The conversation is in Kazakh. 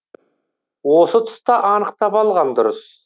осы тұста анықтап алған дұрыс